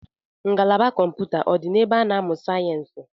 Ngalaba kọmpụta ọ dị na ebe a na-amụ sayensi?